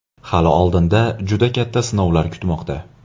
Hali oldinda juda katta sinovlar kutmoqda.